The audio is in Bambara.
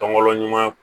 Tɔn wɛrɛ ɲuman